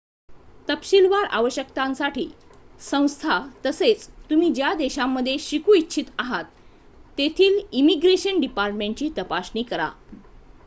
तपशीलवार आवश्यकतांसाठी संस्था तसेच तुम्ही ज्या देशामध्ये शिकू इच्छित आहात तेथील इमिग्रेशन डिपार्टमेंटची तपासणी करा